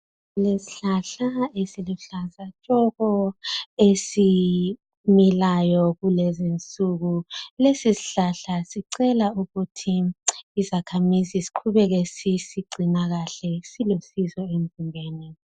Kulesihlahla esiluhlaza tshoko, esimilayo kulezinsuku lesisihlahla sicela ukuthi isakhamisi siqhubeke sisigcina kahle silusizo emzimbeni.